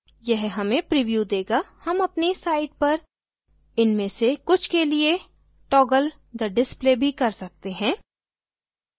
यह हमें प्रीव्यू देगा हम अपनी site पर इनमें से कुछ के लिए toggle the display भी कर सकते हैं